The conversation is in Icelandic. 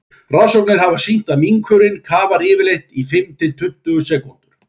rannsóknir hafa sýnt að minkurinn kafar yfirleitt í fimm til tuttugu sekúndur